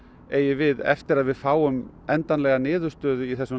eigi við eftir að við fáum endanlega niðurstöðu í þessum